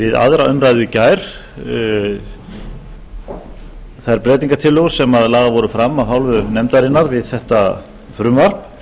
við aðra umræðu í gær þær breytingartillögur sem lagðar voru fram af hálfu nefndarinnar við þetta frumvarp